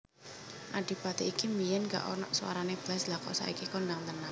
Adipati iki biyen gak onok suarane blas lha kok saiki kondang tenan